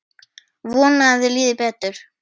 Vona að þér líði betur.